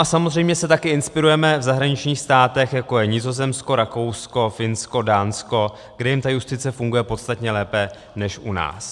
A samozřejmě se taky inspirujeme v zahraničních státech, jako je Nizozemsko, Rakousko, Finsko, Dánsko, kde jim ta justice funguje podstatně lépe než u nás.